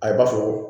A ye b'a fɔ ko